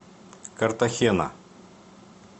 картахена